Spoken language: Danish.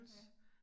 Ja